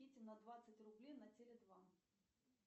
на двадцать рублей на теле два